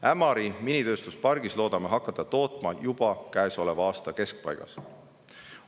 Ämari minitööstuspargis loodame tootmise käima panna juba käesoleva aasta keskpaigas.